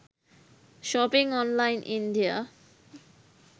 shopping online india